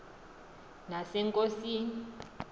nasennkosini